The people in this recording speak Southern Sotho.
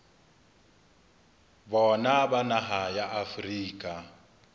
bona ba naha ya afrika